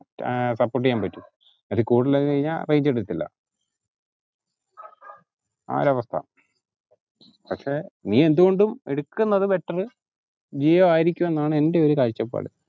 ഏർ support ചെയ്യാൻ പറ്റും അതിൽ കൂടുതലായി കഴിഞ്ഞാ range കിട്ടത്തില്ല ആ ഒരവസ്ഥ പക്ഷെ നീ എന്തുകൊണ്ടും എടുക്കുന്നത് better ജിയോയാരിക്കും എന്നാണ് എന്റെ ഒരു കാഴ്ചപ്പാട്